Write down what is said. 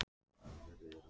Djúpavogi